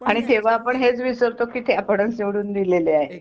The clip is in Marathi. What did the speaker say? आणि तेव्हा आपण हेच विसरतो की ते आपणच निवडून दिलेले आहे